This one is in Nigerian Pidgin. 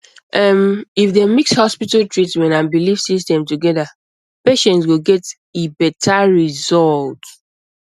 ehm if dem mix hospital treatment and belief system together patients go get e better result